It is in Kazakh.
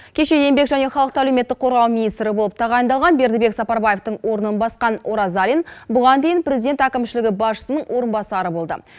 кеше еңбек және халықты әлеуметтік қорғау министрі болып тағайындалған бердібек сапарбаевтың орнын басқан оразалин бұған дейін президент әкімшілігі басшысының орынбасары болды